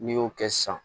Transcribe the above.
N'i y'o kɛ sisan